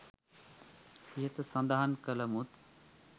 ඉහත සඳහන් කළමුත්